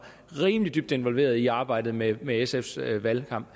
rimelig dybt involveret i arbejdet med med sfs valgkamp